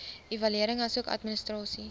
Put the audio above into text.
evaluering asook administrasie